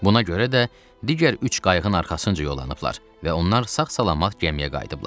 Buna görə də digər üç qayığın arxasınca yollanıblar və onlar sağ-salamat gəmiyə qayıdıblar.